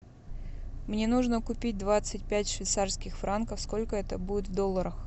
мне нужно купить двадцать пять швейцарских франков сколько это будет в долларах